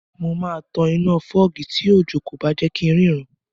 Mo máa tan iná fọ́gì tí òjò kò bá jẹ kí ń rí ra